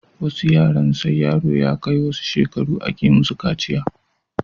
Wasu yaren sai yaro ya kai wasu shekara a ke musu kaciya